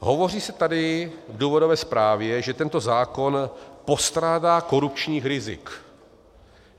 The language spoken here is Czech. Hovoří se tady v důvodové zprávě, že tento zákon postrádá korupčních rizik.